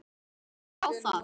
Ég á það.